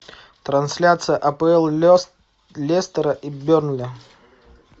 трансляция апл лестера и бернли